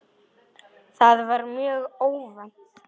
Það var mjög óvænt.